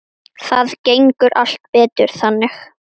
Það gengur allt betur þannig.